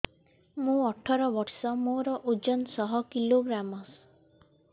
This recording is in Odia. ମୁଁ ଅଠର ବର୍ଷ ମୋର ଓଜନ ଶହ କିଲୋଗ୍ରାମସ